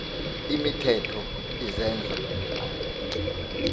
imithetho izenzo r